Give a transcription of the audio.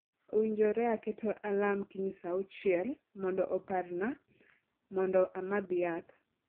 Owinjore aketo alarm kiny saa auchiel mondo oparna mondo amadh yath